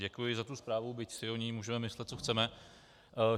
Děkuji za tu zprávu, byť si o ní můžeme myslet, co chceme.